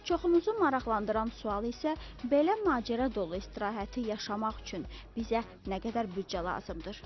Çoxumuzu maraqlandıran sual isə belə macəra dolu istirahəti yaşamaq üçün bizə nə qədər büdcə lazımdır?